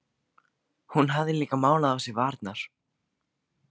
Hún hafði líka málað á sér varirnar.